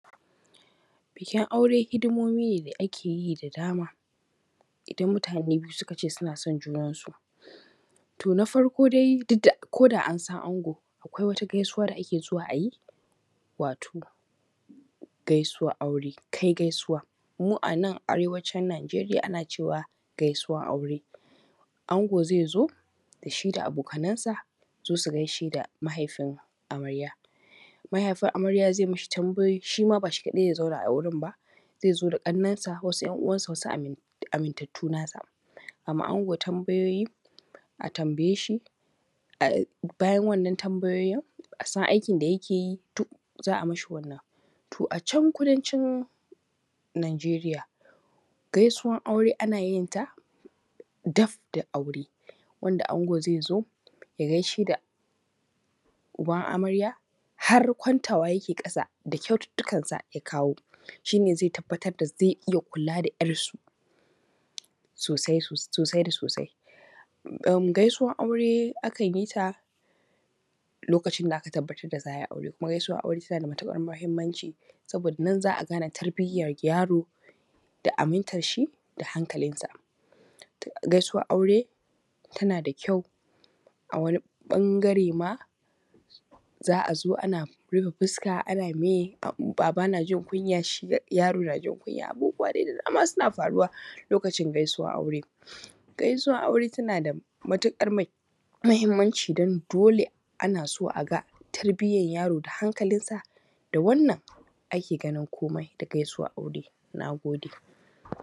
Bikin aure hidimomi ne da ake yi da dama idan mutane biyu suka ce suna son junan su, to na farko dai duk da ko an san angon akwai wata gaisuwa da ake zuwa a yi wato gaisuwar aure kai gaisuwa mu a nan arewacin Nijeriya ana cewa gaisuwan aure. Ango zai zo da shi da abokanan sa su zo su gaishe da mahaifin amarya, mahaifin amarya zai mishi tambayoyi, shi ma ba shi kaɗai zai zauna a wurin ba, zai zo da ƙaninsa wasu ‘yan uwansa, wasu amintatu nasa, ama ango tambayoyi a tambaye shi bayan wannan tambayoyin a san aikin da yake yi duk za a mashi wannan. To, a can kudanci Nijeriya gaisuwan aure ana yin ta daf da aure wanda ango zai zo ya gaishe da uban amarya har kwantawa yake ƙasa da kyaututu kansa da ya kawo shi ne zai tabbatar da zai iya kula da ‘yarsu sosai da sosai, gaisuwar aure akan yi ta lokacin da aka tabbatar da za ai auran kuma gaisuwan aure tana da matuƙar mahimmanci saboda nan za a gane tarbiyan yaro da amintar shi da hankalin sa, gaisuwar aure tana da kyau a wani ɓangare ma za a zo ana rufe fuska ana meye baba najin kunya, shi yaro najin kunya. Abubuwa dai da dama suna faruwa lokacin gaisuwar aure, gaisuwar aure tana da matuƙar mahimmanci da dole ana so a ga tarbiayan yaro da hankalinsa da wannan ake ganin komai da gaisuwar aure. Na gode.